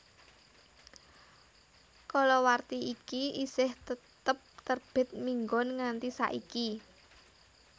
Kalawarti iki isih tetep terbit minggon nganti saiki